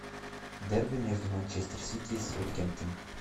дерби между манчестер сити и саутгемптон